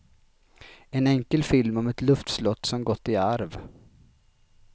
En enkel film om ett luftslott som gått i arv.